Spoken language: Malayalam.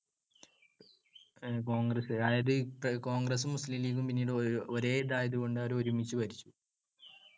കോൺഗ്രസ്സ്. അതായത് കോൺഗ്രസ്സും മുസ്ലീം ലീഗും പിന്നീട് ഒരേതായതുകൊണ്ട് അവര് ഒരുമിച്ചു ഭരിച്ചു.